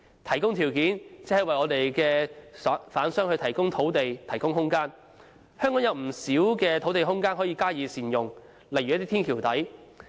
提供條件就是為販商提供土地和空間，香港有不少土地空間可以加以善用，例如天橋底。